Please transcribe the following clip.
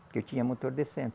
Porque eu tinha motor de centro.